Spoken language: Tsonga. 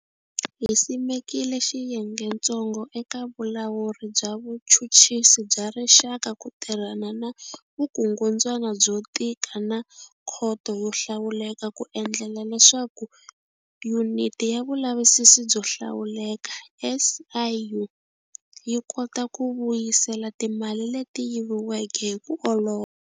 Hi simekile Xiyengetsongo eka Vulawuri bya Vuchuchisi bya Rixaka ku tirhana na vukungundzwana byo tika na Khoto yo Hlawuleka ku endlela leswaku Yuniti ya Vulavisisi byo Hlawuleka, SIU, yi kota ku vuyisela timali leti yiviweke hi ku olova.